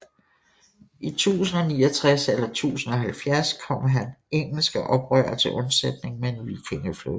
I 1069 eller 1070 kom han engelske oprørere til undsætning med en vikingeflåde